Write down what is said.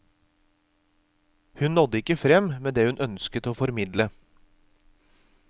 Hun nådde ikke frem med det hun ønsket å formidle.